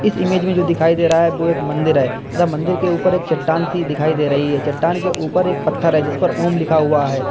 इस इमेज में जो दिखाई दे रहा है वो एक मंदिर है तथा मंदिर के ऊपर एक चट्टान सी दिखाई दे रही है चट्टान के ऊपर एक पत्थर है जिसपर ओम लिखा हुआ है।